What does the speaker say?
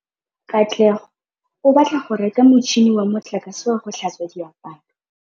Katlego o batla go reka motšhine wa motlakase wa go tlhatswa diaparo.